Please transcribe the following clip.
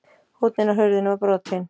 Húnninn á hurðinni var brotinn.